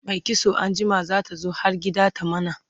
Mai kitso anjima zata zo har gida ta mana